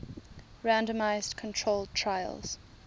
randomized controlled trials